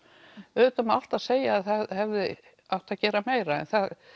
auðvitað má alltaf segja að það hefði átt að gera meira en